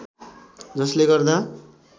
जस्ले गर्दा